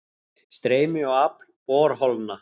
Streymi og afl borholna